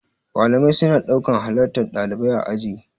Malamai suna ɗaukan halartar ɗalibai aji.